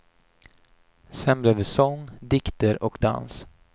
Sen blev det sång, dikter och dans.